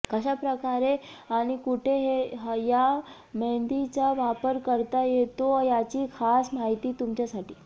कशा प्रकारे आणि कुठे या मेहंदीचा वापर करता येतो याची खास माहिती तुमच्यासाठी